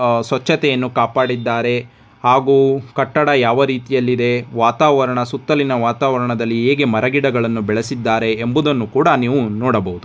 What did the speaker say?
ಸ್ವಚ್ಛತೆಯನ್ನು ಕಾಪಾಡಿದ್ದಾರೆ ಹಾಗೂ ಕಟ್ಟಡ ಯಾವ ರೀತಿಯಲ್ಲಿದೆ ವಾತಾವರಣ ಸುತ್ತಲಿನ ವಾತಾವರಣದಲ್ಲಿ ಹೇಗೆ ಮರ ಗಿಡಗಳನ್ನು ಬೆಳೆಸಿದ್ದಾರೆ ಎಂಬುದನ್ನು ಕೂಡ ನೀವು ನೋಡಬಹುದು .